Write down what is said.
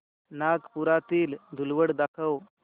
नागपुरातील धूलवड दाखव